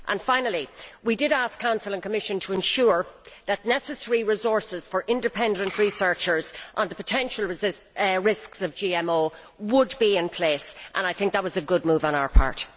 Finally, we asked the Council and Commission to ensure that necessary resources for independent researchers on the potential risks of GMO would be in place, and I think that was a good move on our part.